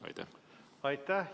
Aitäh!